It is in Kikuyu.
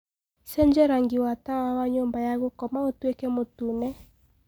cenjĩa rangĩ wa tawa wa nyumba ya gũkoma ũtũĩke mutune